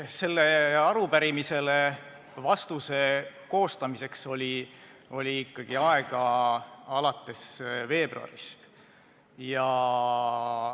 Sellele arupärimisele vastuse koostamiseks oli ikkagi aega alates veebruarist.